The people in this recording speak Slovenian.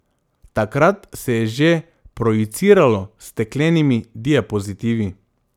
Takrat se je že projiciralo s steklenimi diapozitivi.